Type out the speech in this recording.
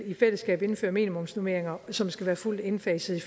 i fællesskab vil indføre minimumsnormeringer som skal være fuldt indfaset i